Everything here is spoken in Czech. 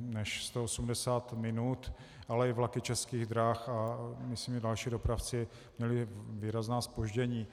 než 180 minut, ale i vlaky Českých drah a myslím i další dopravci měli výrazná zpoždění.